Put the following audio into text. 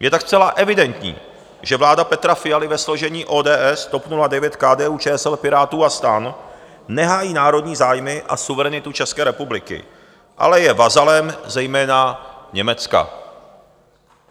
Je tak zcela evidentní, že vláda Petra Fialy ve složení ODS, TOP 09, KDU-ČSL, Pirátů a STAN nehájí národní zájmy a suverenitu České republiky, ale je vazalem zejména Německa.